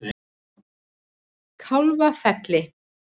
Kálfafelli